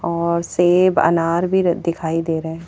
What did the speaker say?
और सेब अनार भी र दिखाई दे रहे।